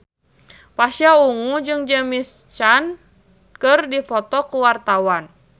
Pasha Ungu jeung James Caan keur dipoto ku wartawan